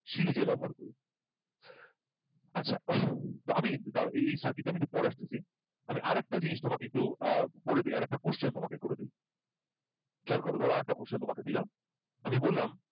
সিরিজে ব্যবহার করব আচ্ছা আমি দাও এই এই circuit টা একটু পরে আসতেছি আমি আর একটা জিনিস তোমাকে আর একটু করে দিই আরেকটা question করে দেই খেয়াল করো ধরো আর একটা question তোমাকে দিলাম আমি বললাম